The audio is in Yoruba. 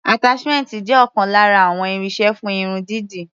Attachment jẹ́ ọ̀kan lára àwọn irinṣẹ́ fún irun dídì.